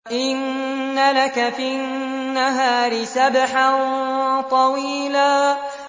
إِنَّ لَكَ فِي النَّهَارِ سَبْحًا طَوِيلًا